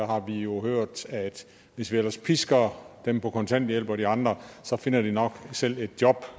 har vi jo hørt at hvis vi ellers pisker dem på kontanthjælp og de andre så finder de nok selv et job